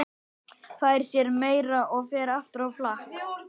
Fær sér meira og fer aftur á flakk.